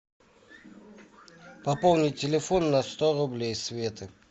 пополнить телефон на сто рублей светы